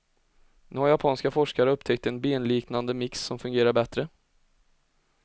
Nu har japanska forskare upptäckt en benliknande mix som fungerar bättre.